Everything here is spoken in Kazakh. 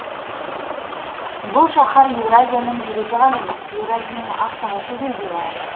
бұл шаһар еуразияның жүрегі ғана емес еуразияның астанасы деуге лайық